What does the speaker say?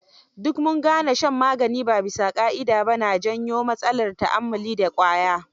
Duk mun gane shan magani ba bisa ƙa'ida ba na janyo matsalar ta'ammali da ƙwaya.